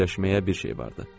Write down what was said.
Fikirləşməyə bir şey vardı.